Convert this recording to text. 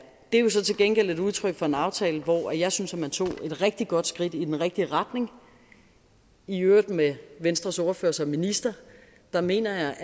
er jo så til gengæld et udtryk for en aftale hvor jeg synes at man tog et rigtig godt skridt i den rigtige retning i øvrigt med venstres ordfører som minister jeg mener